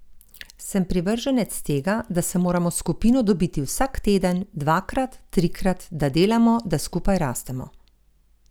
Sem privrženec tega, da se moramo s skupino dobiti vsak teden, dvakrat, trikrat, da delamo, da skupaj rastemo.